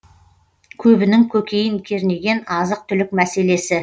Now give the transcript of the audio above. көбінің көкейін кернеген азық түлік мәселесі